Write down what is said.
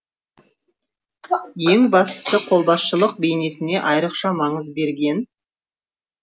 ең бастысы қолбасшылық бейнесіне айрықша маңыз берген